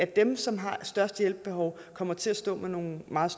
dem som har det største hjælp behov kommer til at stå med nogle meget